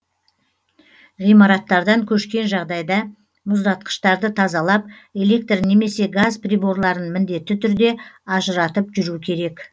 ғимараттардан көшкен жағдайда мұздатқыштарды тазалап электр немесе газ приборларын міндетті түрде ажыратып жүру керек